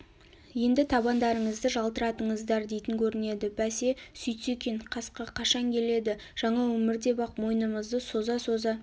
енді табандарыңызды жалтыратыңыздар дейтін көрінеді бәсе сөйтсе екен қасқа қашан келеді жаңа өмір деп-ақ мойынымызды соза-соза